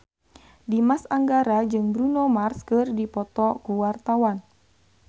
Dimas Anggara jeung Bruno Mars keur dipoto ku wartawan